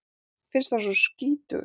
Finnst hann skítugur.